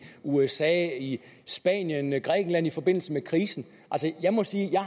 usa i spanien og i grækenland i forbindelse med krisen og jeg må sige at jeg